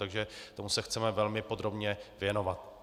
Takže tomu se chceme velmi podrobně věnovat.